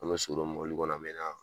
An be so don mobili kɔnɔ an mɛ na